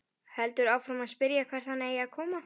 Heldur áfram að spyrja hvert hann eigi að koma.